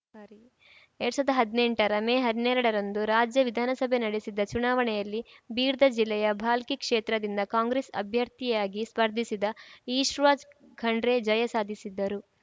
ಎರಡ್ ಸಾವಿರದ ಹದ್ನೆಂಟರ ಮೇ ಹನ್ನೆರಡರಂದು ರಾಜ್ಯ ವಿಧಾನಸಭೆ ನಡೆಸಿದ್ದ ಚುನಾವಣೆಯಲ್ಲಿ ಬೀರ್ದ ಜಿಲ್ಲೆಯ ಭಾಲ್ಕಿ ಕ್ಷೇತ್ರದಿಂದ ಕಾಂಗ್ರೆಸ್‌ ಅಭ್ಯರ್ಥಿಯಾಗಿ ಸ್ಪರ್ಧಿಸಿದ್ದ ಈಶ್ವಜ್ ಖಂಡ್ರೆ ಜಯ ಸಾಧಿಸಿದ್ದರು